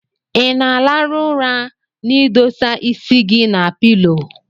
Inaa alarụ ụra na idosaa isi gi na pilo?